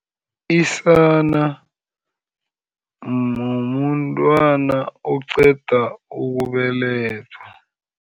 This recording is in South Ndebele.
Isana mntwana oqeda ukubelethwa.